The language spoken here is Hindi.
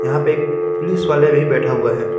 यहाँ पे एक पुलिस वाला भी बैठा हुआ है।